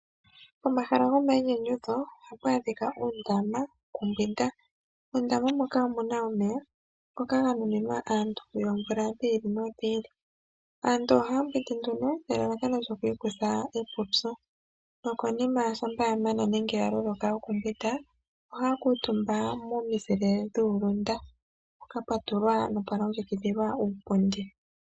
Omahala gomayinyanyudho ohapu adhika uundama wokumbwinda, muundaama moka omuna omeya ngoka ganuninwa aantu yoomvula dhi ili no dhi ili, aantu ohaya mbwindi nduno nelalakano lyoku ikutha epupyu, nokonima shampa yamana nenge yaloloka okumbwinda oha ya kuutumba momizile dhuulunda mpoka pwatulwa nopwa longekidhilwa uupundi.